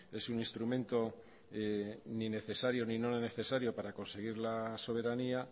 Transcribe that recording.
es un instrumento ni necesario ni no necesario para conseguir las soberanía